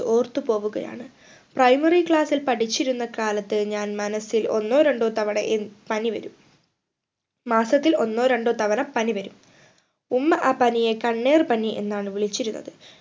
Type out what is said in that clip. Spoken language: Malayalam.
ഓർത്തുപോവുകയാണ് primary class ൽ പഠിച്ചിരുന്ന കാലത്ത് ഞാൻ മനസ്സിൽ ഒന്നോ രണ്ടോ തവണ ഏർ പനി വരും മാസത്തിൽ ഒന്നോ രണ്ടോ തവണ പനി വരും ഉമ്മ ആ പനിയെ കണ്ണേറ് പനി എന്നാണ് വിളിച്ചിരുന്നത്